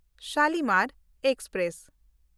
Shalimar express